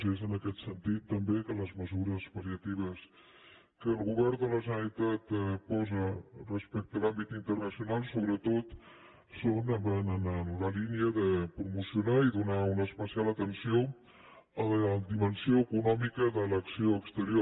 i és en aquest sentit també que les mesures pal·liatives que el govern de la generalitat posa respecte a l’àmbit internacional sobretot són o van en la línia de promocionar i donar una especial atenció a la dimensió econòmica de l’acció exterior